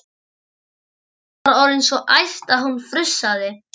Steinunn var orðin svo æst að hún frussaði.